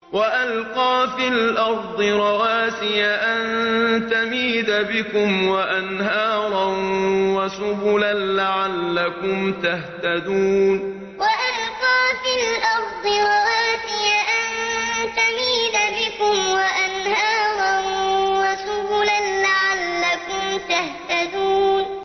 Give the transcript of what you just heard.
وَأَلْقَىٰ فِي الْأَرْضِ رَوَاسِيَ أَن تَمِيدَ بِكُمْ وَأَنْهَارًا وَسُبُلًا لَّعَلَّكُمْ تَهْتَدُونَ وَأَلْقَىٰ فِي الْأَرْضِ رَوَاسِيَ أَن تَمِيدَ بِكُمْ وَأَنْهَارًا وَسُبُلًا لَّعَلَّكُمْ تَهْتَدُونَ